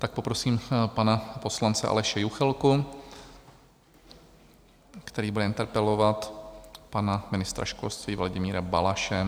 Tak poprosím pana poslance Aleše Juchelku, který bude interpelovat pana ministra školství Vladimíra Balaše.